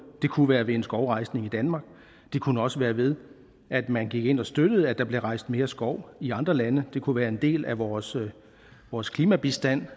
det kunne være ved en skovrejsning i danmark det kunne også være ved at man gik ind og støttede at der bliver rejst mere skov i andre lande det kunne være en del af vores vores klimabistand